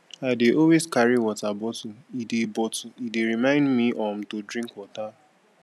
i dey always carry water bottle e dey bottle e dey remind me um to drink water